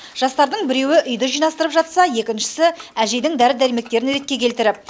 жастардың біреуі үйді жинастырып жатса екіншісі әжейдің дәрі дәрмектерін ретке келтіріп